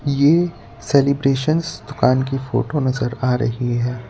ये सेलिब्रेशंस दुकान की फोटो नजर आ रही है।